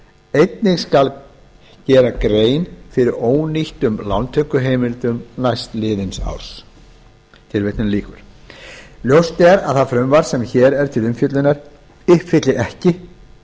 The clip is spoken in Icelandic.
einnig skal gera grein fyrir ónýttum lántökuheimildum næstliðins árs ljóst er að það frumvarp sem hér er til umfjöllunar uppfyllir ekki